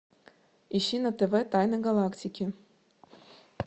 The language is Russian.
ищи на тв тайны галактики